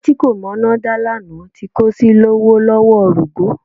Èyí tí kò mọná dá lánàá tí kò sì lówó lọ́wọ́ rógo.